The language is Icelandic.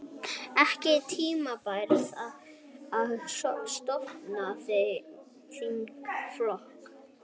Ekki tímabært að stofna þingflokk